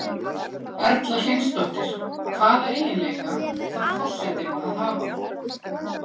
Erla Hlynsdóttir: Hvaða eiginleika þarf forsetinn að hafa?